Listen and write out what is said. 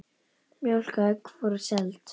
Mjólk og egg voru seld.